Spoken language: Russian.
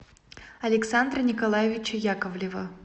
александра николаевича яковлева